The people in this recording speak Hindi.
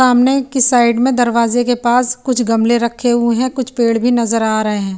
सामने की साइड में दरवाजे के पास कुछ गमले रखे हुए हैं कुछ पेड़ भी नजर आ रहे हैं।